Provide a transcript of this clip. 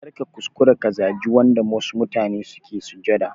Karka kuskura ka zaji yanda wasu mutane suke sujada